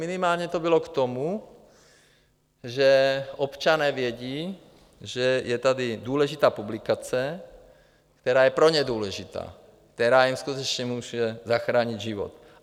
Minimálně to bylo k tomu, že občané vědí, že je tady důležitá publikace, která je pro ně důležitá, která jim skutečně může zachránit život.